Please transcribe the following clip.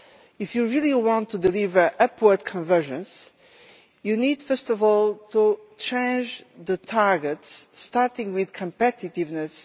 If you really want to deliver upward convergence, you need first of all to change the targets, starting with competitiveness.